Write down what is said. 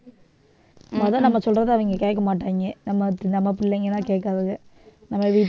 மொத நம்ம சொல்றதே அவங்க கேட்க மாட்டாங்க நம்ம பிள்ளைங்கதான் கேட்காதுங்க